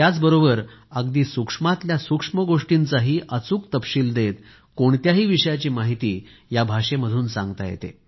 त्याचबरोबर अगदी सूक्ष्मातल्या सूक्ष्म गोष्टींचाही अचूक तपशील देत कोणत्याही विषयाची माहिती या भाषेमधून सांगता येते